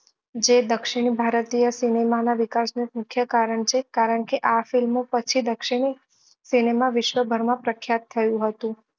જે દક્ષીણ ભારતીય સિનેમા ના વિકાસ ના મુખ્ય કારણ છે કારણ કે આ film ઓ પછી દક્ષીણ સિનેમા વિશ્વ ભર માં પ્રખ્યાત થયું હતું